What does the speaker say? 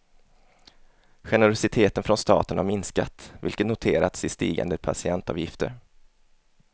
Generositeten från staten har minskat, vilket noterats i stigande patientavgifter.